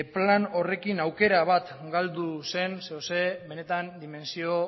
plan horrekin aukera bat galdu zen benetan dimentsio